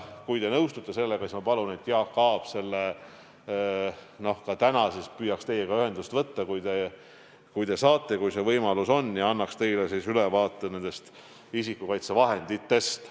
Kui te nõustute sellega, siis ma palun, et Jaak Aab püüaks juba täna teiega ühendust võtta, kui teile sobib, ja annaks ülevaate isikukaitsevahenditest.